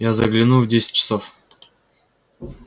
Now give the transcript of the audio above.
я загляну в десять часов